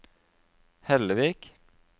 Hellevik